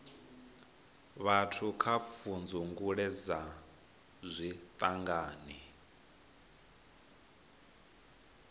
vhathu kha pfudzungule dza zwiṱangani